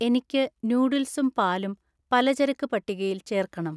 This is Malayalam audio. എനിക്ക് നൂഡിൽസും പാലും പലചരക്ക് പട്ടികയിൽ ചേർക്കണം